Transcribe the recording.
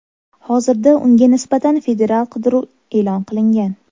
Hozirda unga nisbatan federal qidiruv e’lon qilingan.